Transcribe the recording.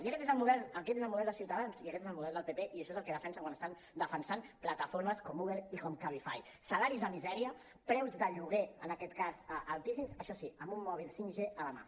i aquest és el model de ciutadans i aquest és el model del pp i això és el que defensen quan estan defensant plataformes com uber i cabify salaris de misèria preus de lloguer en aquest cas altíssims això sí amb un mòbil 5g a la mà